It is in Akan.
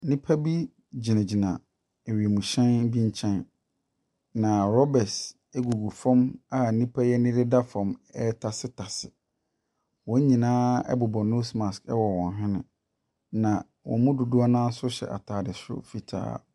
Nnipa bi gyinagyina wiemhyɛn bi nkyɛn, na rubber gugu fam a nnipa yi ani deda fam retasetase. Wɔn nyinaa bobɔ nose mask wɔ wɔn hwene, na wɔn mu dodoɔ no ara nso hyɛ atade soro fitaa.